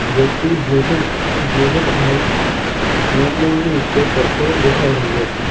વ્યક્તિ bluetooth bluetooth head neckband નો ઉપયોગ કરતો દેખાઈ રહ્યો છે.